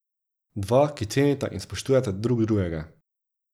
Dva, ki cenita in spoštujeta drug drugega.